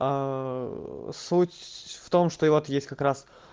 суть в том что и вот есть как раз